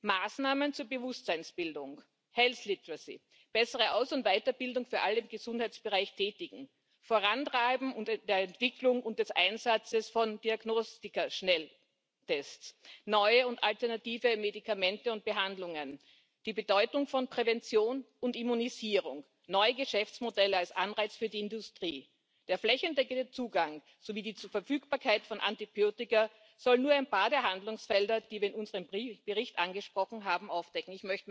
Maßnahmen zur Bewusstseinsbildung, health literacy bessere Aus und Weiterbildung für alle im Gesundheitsbereich Tätigen vorantreiben und die Entwicklung und der Einsatz von Diagnostika Schnelltests, neue und alternative Medikamente und Behandlungen, die Bedeutung von Prävention und Immunisierung, neue Geschäftsmodelle als Anreiz für die Industrie, der flächendeckende Zugang sowie die Verfügbarkeit von Antibiotika sollen nur ein paar der Handlungsfelder, die wir in unserem Bericht angesprochen haben, aufdecken.